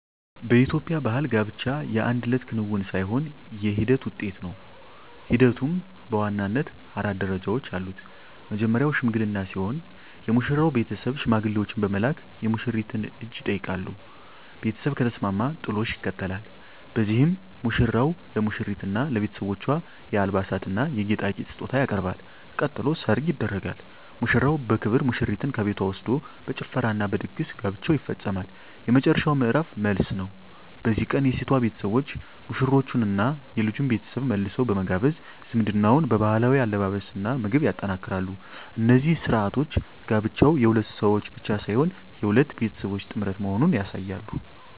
በኢትዮጵያ ባሕል ጋብቻ የአንድ እለት ክንውን ሳይሆን የሂደት ውጤት ነው። ሂደቱም በዋናነት አራት ደረጃዎች አሉት። መጀመርያው "ሽምግልና" ሲሆን፣ የሙሽራው ቤተሰብ ሽማግሌዎችን በመላክ የሙሽሪትን እጅ ይጠይቃሉ። ቤተሰብ ከተስማማ "ጥሎሽ" ይከተላል፤ በዚህም ሙሽራው ለሙሽሪትና ለቤተሰቦቿ የአልባሳትና የጌጣጌጥ ስጦታ ያቀርባል። ቀጥሎ "ሰርግ" ይደረጋል፤ ሙሽራው በክብር ሙሽሪትን ከቤቷ ወስዶ በጭፈራና በድግስ ጋብቻው ይፈጸማል። የመጨረሻው ምዕራፍ "መልስ" ነው። በዚህ ቀን የሴቷ ቤተሰቦች ሙሽሮቹንና የልጁን ቤተሰብ መልሰው በመጋበዝ ዝምድናውን በባህላዊ አለባበስና ምግብ ያጠናክራሉ። እነዚህ ሥርዓቶች ጋብቻው የሁለት ሰዎች ብቻ ሳይሆን የሁለት ቤተሰቦች ጥምረት መሆኑን ያሳያሉ።